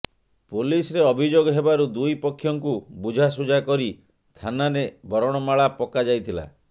ପୋଲିସରେ ଅଭିଯୋଗ ହେବାରୁ ଦୁଇ ପକ୍ଷଙ୍କୁ ବୁଝାସୁଝା କରି ଥାନାରେ ବରଣମାଳା ପକାଯାଇଥିଲା